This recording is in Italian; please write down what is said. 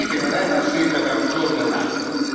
Non è una scelta tra un giorno e un altro.